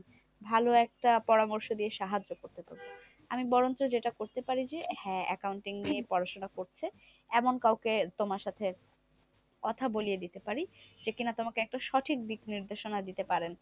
ভালো একটা পরামর্শ দিয়ে সাহায্য করতে পারি? আমি বরঞ্চ যেটা করতে পারি যে, হ্যাঁ accounting নিয়ে পড়াশোনা করছে এমন কাউকে তোমার সাথে কথা বলিয়ে দিতে পারি। যে কিনা তোমাকে একদম সঠিক দিক নির্দেশনা দিতে পারেন।